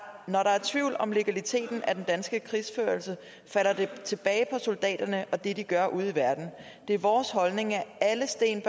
når der er tvivl om legaliteten af den danske krigsførelse falder det tilbage på soldaterne og det de gør ude i verden det er vores holdning at alle sten